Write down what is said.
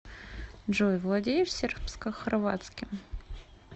джой владеешь сербскохорватским